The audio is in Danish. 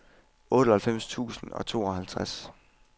otteoghalvfems tusind og tooghalvtreds